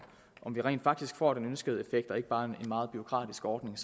om vi rent faktisk får den ønskede effekt og ikke bare en meget bureaukratisk ordning